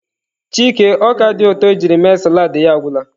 Chike ọka dị ụtọ ejiri mee salad ya agwụla.